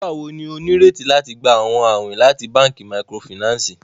Nigbawo ni o nireti lati gba awọn awin lati banki microfinance?